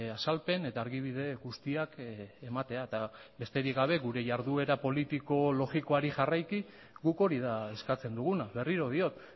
azalpen eta argibide guztiak ematea eta besterik gabe gure jarduera politiko logikoari jarraiki guk hori da eskatzen duguna berriro diot